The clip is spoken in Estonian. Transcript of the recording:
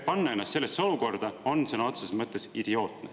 Panna ennast sellesse olukorda on sõna otseses mõttes idiootne.